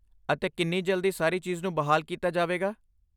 ਅਤੇ ਕਿੰਨੀ ਜਲਦੀ ਸਾਰੀ ਚੀਜ਼ ਨੂੰ ਬਹਾਲ ਕੀਤਾ ਜਾਵੇਗਾ?